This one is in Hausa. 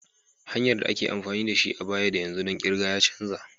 Hanyar da ake amfani da shi a baya da yanzu ɗon kirga ya canza.